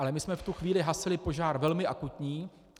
Ale my jsme v tu chvíli hasili požár velmi akutní.